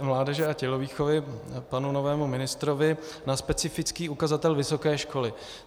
mládeže a tělovýchovy panu novému ministrovi na specifický ukazatel vysoké školy.